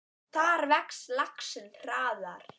Þar vex laxinn hraðar.